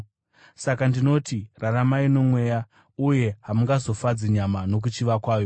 Saka ndinoti, raramai noMweya, uye hamungazofadzi nyama nokuchiva kwayo.